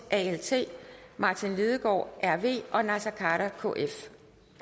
martin lidegaard og naser khader